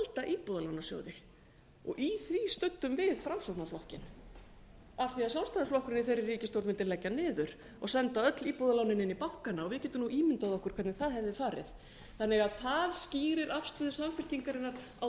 halda íbúðalánasjóði í því studdum við framsóknarflokkinn af því sjálfstæðisflokkurinn í þeirri ríkisstjórn vildi leggja hann niður og senda öll íbúðalánin inn í bankana við getum nú ímyndað okkur hvernig það hefði farið þannig að það skýrir afstöðu samfylkingarinnar á